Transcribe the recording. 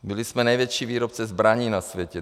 Byli jsme největší výrobci zbraní na světě.